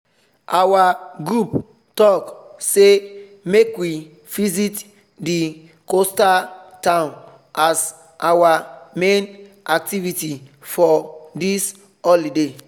our group talk say make we visit the coastal town as our main activity for this holiday